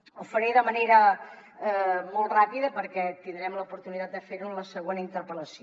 ho faré de manera molt ràpida perquè tindrem l’oportunitat de fer ho en la següent interpel·lació